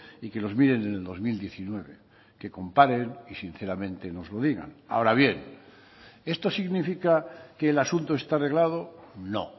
y que los miren en el dos mil diecinueve que comparen y sinceramente nos lo digan ahora bien esto significa que el asunto está arreglado no